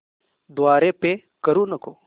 द्वारे पे करू नको